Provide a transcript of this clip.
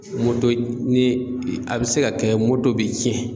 Moto ni a bɛ se ka kɛ moto bi cɛn